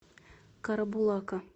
карабулака